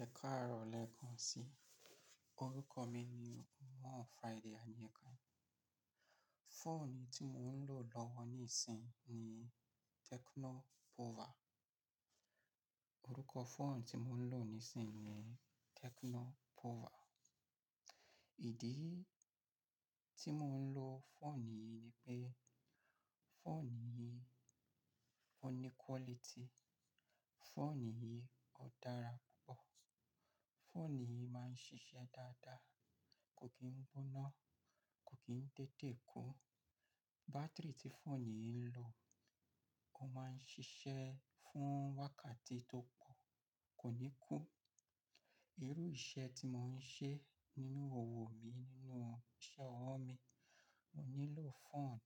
Ẹ káàárọ̀ lẹkan sí, orúkọ mi ni MoreFriday Adeyinka. Phone tí mo ń lò lọ́wọ́ níìsín ni Tecno Pova. Orúkọ phone tí mo ń lò níìsín ni Tecno Pova. Ìdí tí mo ń lo phone yìí ni pé phone yìí ó ní quality, phone yìí ó dára púpọ̀, phone yìí máa ń ṣiṣẹ́ dáadáa, kò kí ń gbóná, kò kí ń tètè kú. Battery tí phone yìí ń lo, ó máa ń ṣiṣẹ́ fún wákàtí tó pọ̀, kò ní kú. Irú iṣẹ́ tí mo ń ṣe nínú owo mi nínú iṣẹ́ ọwọ́ mi, mo nílò phone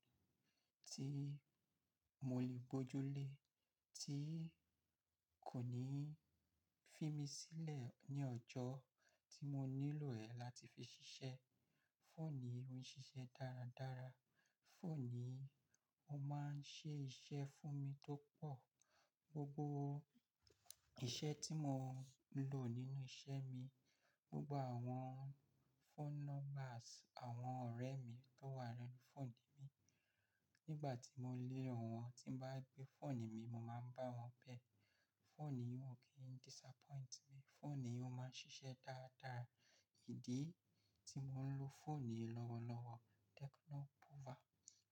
tí mo lè gbojú lé, tí kò ní fi mí sílẹ̀ ní ọjọ́ tí mo nílò ẹ̀ láti fi ṣiṣẹ́. Phone yìí ó ń ṣiṣẹ́ dáradára, phone yìí ó máa ń ṣe iṣẹ́ fún mi tó pọ̀. Gbogbo iṣẹ́ tí mo ń lò nínú iṣẹ́ mi, gbogbo àwọn phone numbers àwọn ọ̀rẹ́ mi tó wà nínú phone mi, nígbà tí mo lé ọ̀wọ́n, tí ń bá gbé phone mi, mo máa ń bá wọn bẹ̀. Phone yìí ò kí ń disappoint mí, phone yìí ó máa ń ṣiṣẹ́ dáadáa. Ìdí tí mo ń lo phone yìí lọ́wọ́lọ́wọ́ Tecno Pova,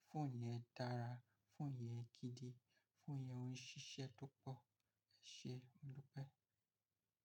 phone yẹn dára, phone yẹn gidi, phone yẹn ó ń ṣiṣẹ́ tó pọ̀. Ẹ ṣé, modu pẹ̀.